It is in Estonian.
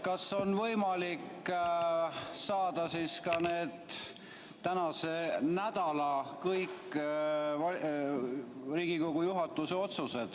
Kas on võimalik kätte saada selle nädala kõik Riigikogu juhatuse otsused?